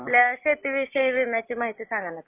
आपल्या शेतीविषयी विम्याची माहिती सांगा ना जरा